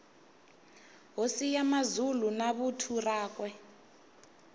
hosi ya mazulu na vuthu rakwe